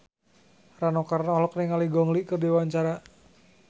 Rano Karno olohok ningali Gong Li keur diwawancara